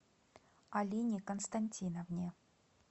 алине константиновне